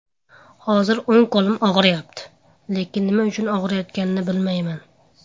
Hozir o‘ng qo‘lim og‘riyapti, lekin nima uchun og‘riyotganini bilmayman.